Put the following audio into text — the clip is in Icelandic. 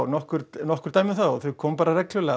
nokkur nokkur dæmi um það og þau koma bara reglulega